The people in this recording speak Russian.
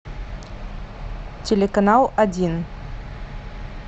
телеканал один